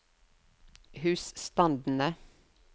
husstandene